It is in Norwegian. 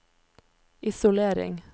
isolering